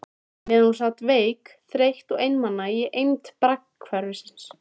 Meðan hún sat veik, þreytt og einmana í eymd braggahverfisins.